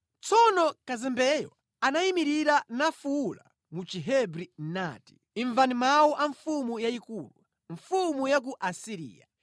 Tsono kazembeyo anayimirira nafuwula mu Chihebri kuti, “Imvani mawu a mfumu yayikulu, mfumu ya ku Asiriya!